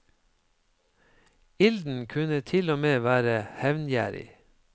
Ilden kunne til og med være hevngjerrig.